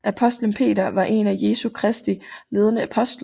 Apostlen Peter var en af Jesu Kristi ledende apostle